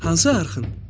Hansı arxın?